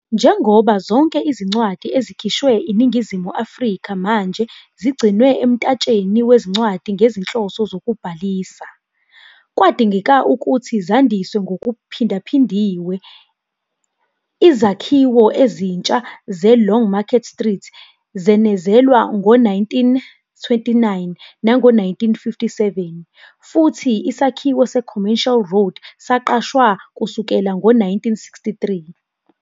Njengoba zonke izincwadi ezikhishwe INingizimu Afrika manje zigcinwe emtatsheni wezincwadi ngezinhloso zokubhalisa, kwadingeka ukuthi zandiswa ngokuphindaphindiwe. Izakhiwo ezintsha zeLongmarket Street zenezelwa ngo-1929 nango-1957, futhi isakhiwo seCommercial Road saqashwa kusukela ngo-1963.